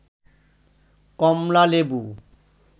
কমলা লেবু